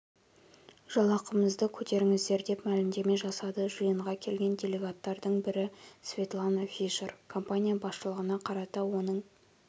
жалақымызды көтеріңіздер деп мәлімдеме жасады жиынға келген делегаттардың бірі светлана фишер компания басшылығына қарата оның